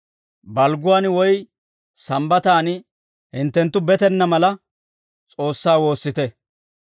Balgguwaan woy Sambbataan hinttenttu betenna mala, S'oossaa woossite;